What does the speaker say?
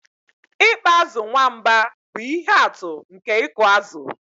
Ịkpa azụ̀ nwamba bụ ihe atụ nke ịkụ azụ̀